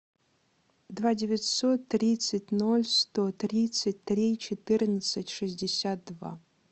два девятьсот тридцать ноль сто тридцать три четырнадцать шестьдесят два